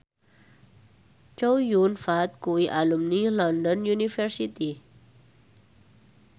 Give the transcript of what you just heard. Chow Yun Fat kuwi alumni London University